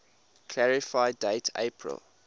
clarify date april